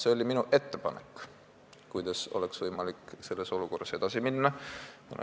See oli minu ettepanek, kuidas oleks võimalik selles olukorras edasi minna.